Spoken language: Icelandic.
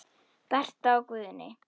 Berta og Guðni.